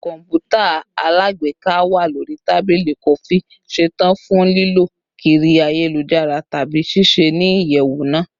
Kọǹpútà alágbèéká wa lori tabili kọfi, ṣetan fun lilọ kiri ayelujara tabi ṣiṣẹ ni iyẹwu naa